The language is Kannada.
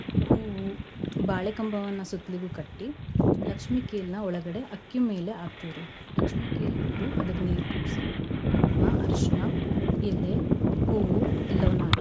ಹೂವು ಬಾಳೆ ಕಂಬವನ್ನ ಸುತ್ಲಿಗೂ ಕಟ್ಟೀ ಲಕ್ಷ್ಮೀ ಕೇಲ್ ಒಳಗಡೆ ಅಕ್ಕಿ ಮೇಲೆ ಹಾಕ್ತೀವ್ ರಿ. ಲಕ್ಷ್ಮೀ ಕೇಲ್ ಇಟ್ಟು ಅದ್ಕ ನೀರ್ ತುಂಬ್ಸಿ ಕುಂಕ್ಮ, ಅರ್ಶನಾ, ಎಲೆ, ಹೂವು ಎಲ್ಲವನ ಹಾಕಿ